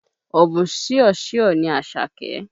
Ọ̀bùn ṣìọṣìọ ni Àṣàké.